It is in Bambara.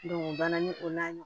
o banna ni o n'a ɲɔgɔn